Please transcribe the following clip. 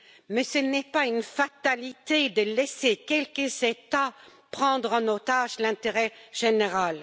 Mais ce n'est pas une fatalité de laisser quelques États prendre en otage l'intérêt général.